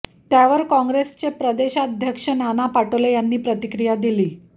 त्यावर काँग्रेसचे प्रदेशाध्यक्ष नाना पटोले यांनी प्रतिक्रिया दिलीय